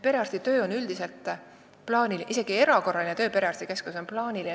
Perearsti töö on üldiselt plaaniline, isegi erakorraline töö perearstikeskuses on plaaniline.